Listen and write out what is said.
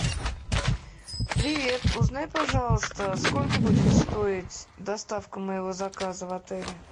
привет узнай пожалуйста сколько будет стоить доставка моего заказа в отеле